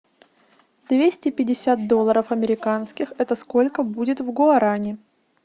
двести пятьдесят долларов американских это сколько будет в гуарани